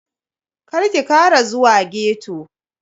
Karki Kara zuwa ghetto.